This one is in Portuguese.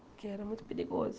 Porque era muito perigoso.